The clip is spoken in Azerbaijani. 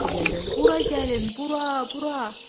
Bura gəlin, bura, bura!